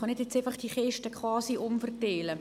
Er kann diese Kiste jetzt nicht quasi umverteilen.